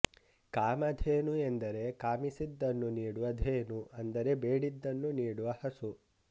ಕಾಮಧೇನು ಎಂದರೆ ಕಾಮಿಸಿದ್ದನ್ನು ನೀಡುವ ಧೇನು ಅಂದರೆ ಬೇಡಿದ್ದನ್ನು ನೀಡುವ ಹಸು